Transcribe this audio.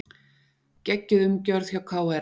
Geggjuð umgjörð hjá KR